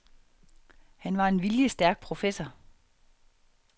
Han var en viljestærk professor.